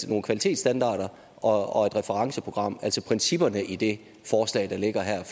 nogle kvalitetsstandarder og referenceprogram altså principperne i det forslag der ligger her